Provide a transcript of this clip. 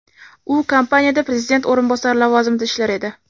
U kompaniyada prezident o‘rinbosari lavozimida ishlar edi.